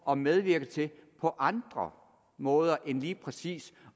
at medvirke til på andre måder end lige præcis